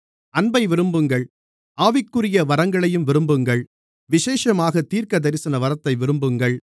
அன்பை விரும்புங்கள் ஆவியானவருக்குரிய வரங்களையும் விரும்புங்கள் விசேஷமாகத் தீர்க்கதரிசனவரத்தை விரும்புங்கள்